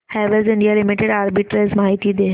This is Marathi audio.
हॅवेल्स इंडिया लिमिटेड आर्बिट्रेज माहिती दे